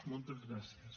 moltes gràcies